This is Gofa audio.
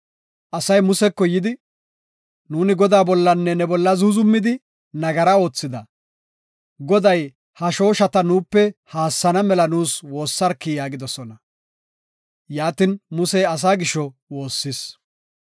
Asay Museko yidi, “Nuuni Godaa bollanne ne bolla zuuzumidi, nagara oothida. Goday ha shooshata nuupe haassana mela nuus woossarki” yaagidosona. Yaatin, Musey asaa gisho woossis.